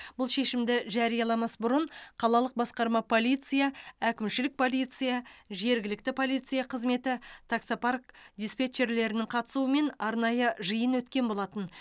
бұл шешімді жарияламас бұрын қалалық басқарма полиция әкімшілік полиция жергілікті полиция қызметі таксопарк диспетчерлерінің қатысуымен арнайы жиын өткен болатын